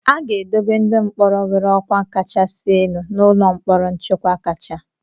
A ga-edobe ndị mkpọrọ nwere ọkwa kachasị elu n'ụlọ mkpọrọ nchekwa kacha.